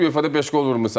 ÜFA-da beş qol vurmusan.